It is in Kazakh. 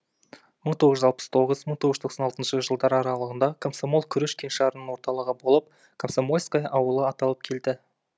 мың тоғыз жүз алпыс тоғыз мың тоғыз жүз тоқсан алтыншы жылдар аралығында комсомол күріш кеңшарының орталығы болып комсомольское ауылы аталып келді